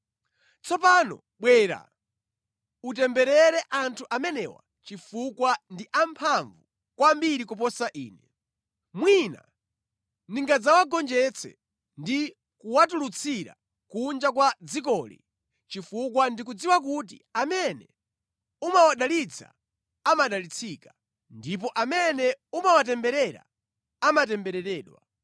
Tsopano bwera, utemberere anthu amenewa chifukwa ndi amphamvu kwambiri kuposa ine. Mwina ndingadzawagonjetse ndi kuwatulutsira kunja kwa dzikoli chifukwa ndikudziwa kuti amene umawadalitsa amadalitsika, ndipo amene umawatemberera amatembereredwa.”